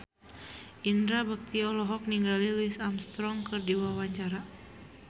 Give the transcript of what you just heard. Indra Bekti olohok ningali Louis Armstrong keur diwawancara